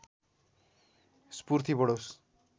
स्फूर्ति बढोस्